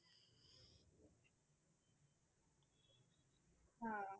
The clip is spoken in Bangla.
হ্যাঁ।